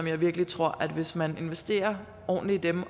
jeg virkelig tror at hvis man investerer ordentligt i dem